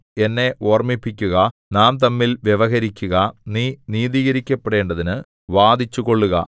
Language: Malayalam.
എന്നെ ഓർമിപ്പിക്കുക നാം തമ്മിൽ വ്യവഹരിക്കുക നീ നീതീകരിക്കപ്പെടേണ്ടതിന് വാദിച്ചുകൊള്ളുക